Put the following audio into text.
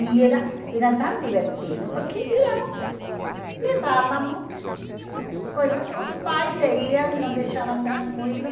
E era era tão divertido, porque íamos, levávamos, coisa os pais seguiam, nos deixavam tranquilos.